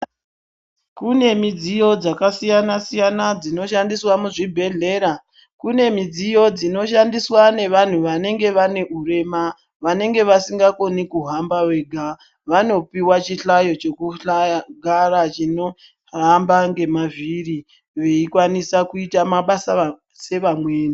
Kune midziyo dzakasiyana-siyana dzinoshandiswa muzvidhedhleya. Kune midziyo dzinoshandiswa nevantu vanenge vane urema vanenge vasingakoni kuhamba wega. Vanopiva chihlayo chekugara chinohamba ngemavhiri veikwanisa kuita mabasa sevamweni.